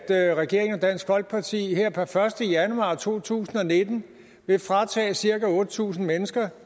at regeringen og dansk folkeparti her per første januar to tusind og nitten vil fratage cirka otte tusind mennesker